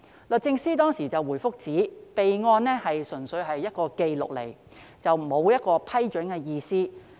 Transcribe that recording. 律政司當時回覆指備案純粹是一個紀錄，沒有批准的意思。